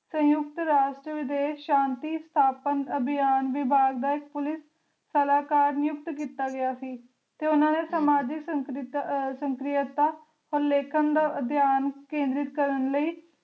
ਸੰਯੁਕਤ ਰਾਸ਼ਟਰ ਵਿਦੇਸ਼ ਸ਼ਾਂਤੀ ਸਥਾਪਨ ਅਭਿਆਨ ਵਿਭਾਗ ਦਾ ਪੁਲਿਸ ਸਲਾਹਕਾਰ ਨਿਯੁਕਤ ਕੀਤਾ ਗਯਾ ਸੀ ਤੇ ਓਹਨਾ ਨੇ ਸਮਾਜਿਕ ਸਕ੍ਰਿਯਤਾ ਅਹ ਲੇਖਣ ਦਾ ਅਭਿਆਨ ਕੇਂਦਰਿਤ ਕਰਨ ਲਈ